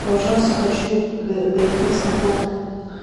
пожалуйста хочу доехать с комфортом